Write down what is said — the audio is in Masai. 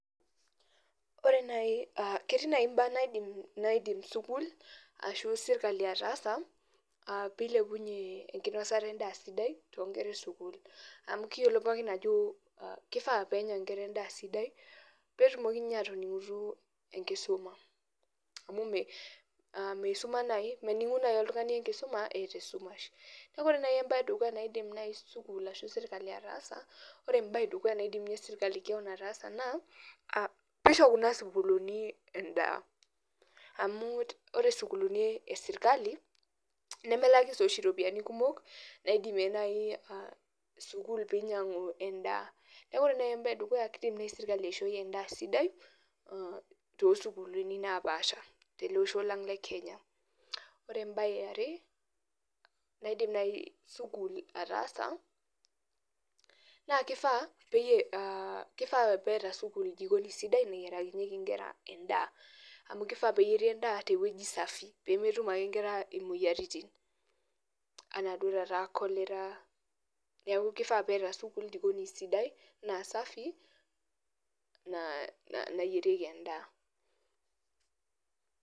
Ore naaji uh ketii naaji imbaa naidim naidim sukuul ashu sirkali ataasa uh pilepunyie enkinosata endaa sidai tonkera esukul amu kiyiolo pookin ajo kifaa peenya inkera endaa sidai petumoki ninye atoning'utu enkisuma amu me meisuma naaji mening'u naaji oltung'ni enkisuma eeta esumash neku ore naaji embae edukuya naidim naaji eh sukuul ashu sirkali ataasa ore embaye edukuya naidim inye sirkali kewon ataasa naa uh pisho kuna sukuluni endaa amu ore sukuluni esirkali nemelaki sii oshi iropiani kumok naidimie naaji uh sukuul pinyiang'u enda a neku ore naaji embaye edukuya kidim naaji sirkali aishoi endaa sidai tosukuluni napaasha tolosho le kenya ore embaye eare naidim naaji sukul ataasa naa kifaa peyie uh kifaa peeta sukuul jikoni sidai nayiarakinyieki inkera endaa amu kifaa peyieri endaa tewueji safi pemetum ake inkera imoyiaritin anaa duo taata cholera niaku kifaa peeta sukuul jikoni sidai naa safi naa nayierieki endaa.